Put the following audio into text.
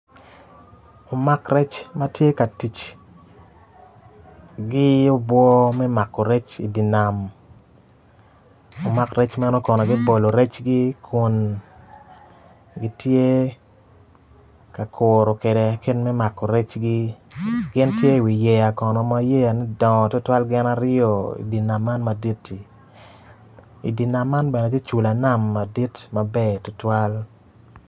Lumak rec gitye ka tic, giyubo me mako rec, lumak rec magi kono gibolo recgi kun gitye ka kuro kede kitme mako recgi gin ki i wi yeya kono ma yeya ne dongo tutuwal gin aryo i wi nam man maditti, i di nam man bene tye cula nam madit maber tutwal.